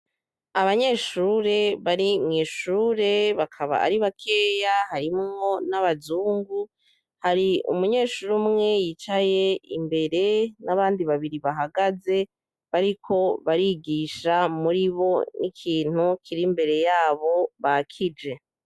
Abanyeshure bari mwishure bakaba ari bakeya harimwo n'abazungu hari umunyeshure umwe yicaye imbere n'abandi babiri bahagaze bariko barigisha muri bo n'ikintu kiri imbere yabo bakije.